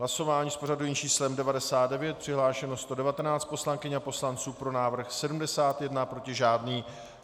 Hlasování s pořadovým číslem 99, přihlášeno 119 poslankyň a poslanců, pro návrh 71, proti žádný.